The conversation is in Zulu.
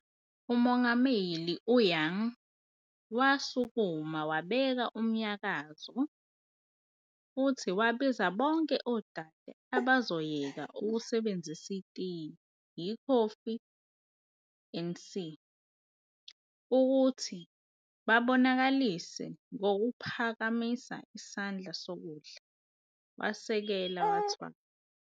UMongameli Young wasukuma wabeka umnyakazo futhi wabiza bonke odade abazoyeka ukusebenzisa itiye, ikhofi, andc., ukuthi bakubonakalise ngokuphakamisa isandla sokudla, wasekela wathwala.